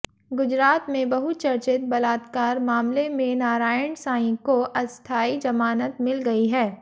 गुजरात में बहुचर्चित बलात्कार मामले में नारायण साईं को अस्थायी ज़मानत मिल गयी है